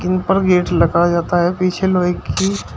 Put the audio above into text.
ऊपर गेट लगाया जाता है पीछे लोहे की--